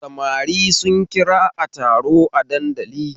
Samari sun kira a taro a dandali